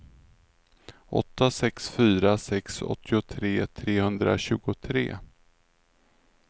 åtta sex fyra sex åttiotre trehundratjugotre